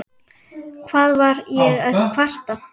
Hvað var ég að kvarta?